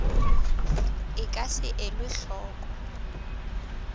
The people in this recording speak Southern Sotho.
e ka se elwe hloko